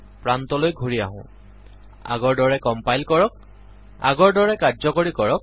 প্ৰান্তলৈ ঘূৰি আহো আগৰ দৰে কম্পাইল কৰক আগৰ দৰে কাৰ্যকৰী কৰক